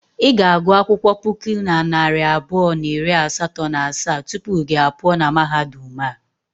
I ga-agụ akwụkwọ puku na narị abụọ na iri asatọ na asaa tupu gị a pụọ na mahadum a.